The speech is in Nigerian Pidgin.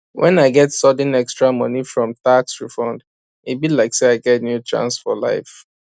when i get sudden extra money from tax refund e be like say i get new chance for life